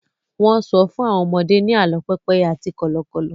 wón so fún àwọn ọmọdé ni àlọ pépéye àti Kọ́lọ́kọ́l